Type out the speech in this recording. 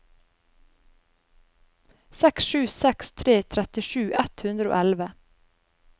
seks sju seks tre trettisju ett hundre og elleve